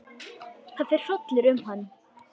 Það fer hrollur um hann.